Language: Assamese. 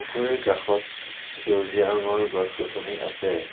পুখুৰীৰ কাষত সেউজীয়া ৰঙৰ গছ-গছনি আছে।